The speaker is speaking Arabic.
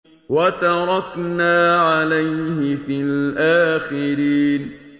وَتَرَكْنَا عَلَيْهِ فِي الْآخِرِينَ